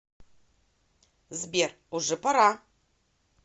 сбер уже пора